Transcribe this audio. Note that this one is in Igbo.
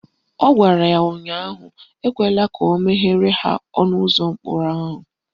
Ọ gwara ya ụnyaahụ "Ekwela ka o meghere ha ọnụụzọ ụlọ mkpọrọ ahụ"